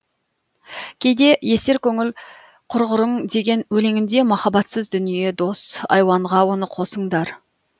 кейде есер көңіл құрғырың деген өлеңінде махаббатсыз дүние дос айуанға оны қосыңдар